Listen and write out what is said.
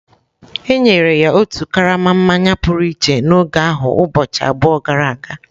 E nyere ya otu karama mmanya pụrụ iche n’oge ahụ ụbọchị abụọ gara aga.